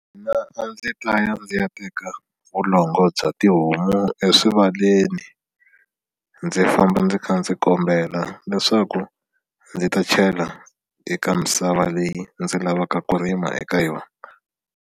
Mina a ndzi dlaya ndzi ya teka vulongo bya tihomu eswivaleni ndzi famba ndzi kha ndzi kombela leswaku ndzi ta chela eka misava leyi ndzi lavaka ku rima eka yona.